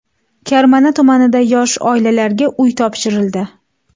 Karmana tumanida yosh oilalarga uy topshirildi.